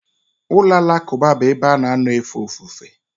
Ụlọ alakụba bụ ebe a na-anọ efe ofufe.